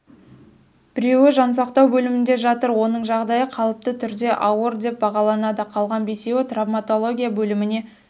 біреуі жансақтау бөлімінде жатыр оның жағдайы қалыпты түрде ауыр деп бағаланады қалған бесеуі травматология бөліміне